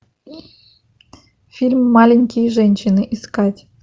фильм маленькие женщины искать